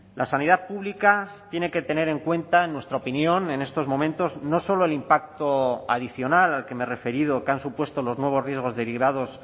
la sanidad pública tiene que tener en cuenta en nuestra opinión en estos momentos no solo el impacto adicional al que me he referido que han supuesto los nuevos riesgos derivados